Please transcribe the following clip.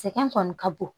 Sɛgɛn kɔni ka bon